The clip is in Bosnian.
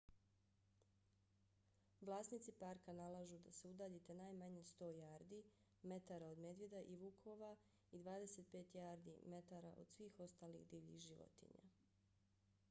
vlasnici parka nalažu da se udaljite najmanje 100 jardi/metara od medvjeda i vukova i 25 jardi/metara od svih ostalih divljih životinja!